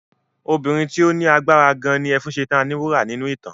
Obìnrin tí ó lágbára gan ni Ẹfúnṣetán Aníwúrà nínú ìtàn.